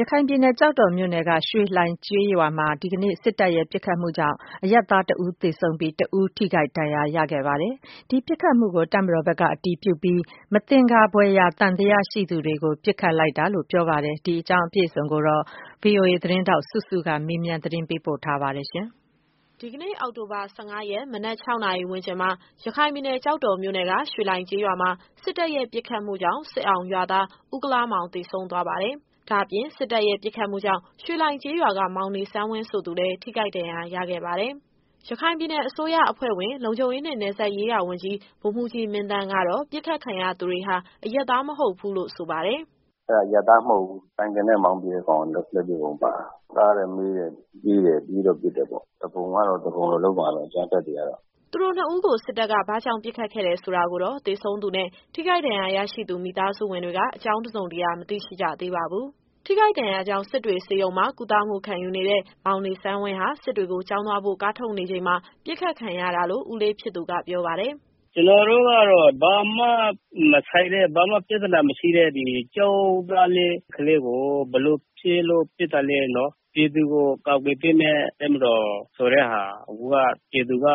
ရခိုင်ပြည်နယ်၊ ကျောက်တော်မြို့နယ်က ရွှေလှိုင်ကျေးရွာမှာ ဒီကနေ့ စစ်တပ်ရဲ့ပစ်ခတ်မှုကြောင့် အရပ်သားတဦးသေဆုံးပြီး၊ တဦးထိခိုက်ဒဏ်ရာရခဲ့ပါတယ်။ ဒီပစ်ခတ်မှုကို တပ်မတော်ဘက်က အတည်ပြုပြီး မသင်္ကာဖွယ်ရာ သံသယရှိသူတွေကို ပစ်ခတ်လိုက်တာလို့ ပြောပါတယ်။ ဒီအကြောင်းအပြည့်အစုံကို ဗွီအိုအေသတင်းထောက် စုစုကမေးမြန်း ပေးပို့ထားပါတယ်။ ဒီကနေ့ အောက်တိုဘာ ၁၅ရက် မနက် ၆နာရီဝန်းကျင်မှာ ရခိုင်ပြည်နယ်၊ ကျောက်တော်မြို့နယ်က ရွှေလှိုင်ကျေးရွာမှာ စစ်တပ်ရဲ့ပစ်ခတ်မှုကြောင့် စစ်အောင်ရွာသား ဦးကုလားမောင်သေဆုံးသွားပါတယ်။ ဒါ့အပြင် စစ်တပ်ရဲ့ ပစ်ခတ်မှုကြောင့် ရွှေလှိုင်ကျေးရွာက မောင်နေဆန်းဝင်းဆိုသူလည်း ထိခိုက်ဒဏ်ရာရခဲ့ပါတယ်။ ရခိုင်ပြည်နယ်အစိုးရအဖွဲ့ဝင် လုံခြုံရေးနှင့် နယ်စပ်ရေးရာဝန်ကြီး ဗိုလ်မှူးကြီးမင်းသန်းကတော့ ပစ်ခတ်ခံရသူတွေဟာ အရပ်သားမဟုတ်ဘူးလို့ ဆိုပါတယ်။ “အဲဒါ အရပ်သားမဟုတ်ဘူး။ ဆိုင်ကယ်နဲ့ မောင်းပြေးတဲ့ကောင်က လက်ပစ်ဗုံးပါတာ။ တားတယ်၊ မေးတယ်၊ ပြေးတယ်။ပြေးတော့ပစ်တယ်ပေါ့။ သူပုန်ကတော့ သူပုန်လိုလုပ်မှာပဲ။ အကြမ်းဖက်တွေကတော့။” သူတို့နှစ်ဦးကို စစ်တပ်က ဘာကြောင့်ပစ်ခတ်ခဲ့တယ်ဆိုတာကိုတော့ သေဆုံးသူနဲ့ ထိခိုက်ဒဏ်ရာရရှိသူ မိသားစုဝင်တွေက အကြောင်းတစုံတရာ မသိရှိကြသေးပါဘူး။ ထိခိုက်ဒဏ်ရာကြောင့် စစ်တွေဆေးရုံမှာ ကုသမှုခံယူနေတဲ့ မောင်နေဆန်းဝင်းဟာ စစ်တွေကိုကျောင်းသွားဖို့ ကားထုတ်နေချိန်မှာ ပစ်ခတ်ခံရတာလို့ ဦးလေးဖြစ်သူက ပြောပါတယ်။ “ကျတော်တို့ကတော့ ဘာမှမဆိုင်တဲ့၊ ဘာမှပြဿနာမရှိတဲ့ ဒီကျောင်းသားလေး ကလေးကို ဘယ်လိုဖြစ်လို့ပစ်တာလဲနော်။ ပြည်သူကို ကာကွယ်ပေးမယ့် တပ်မတော်ဆိုတဲ့ဟာ အခုက ပြည်သူက